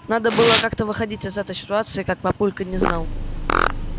надо было как-то выходить из этой ситуации как папулька не знал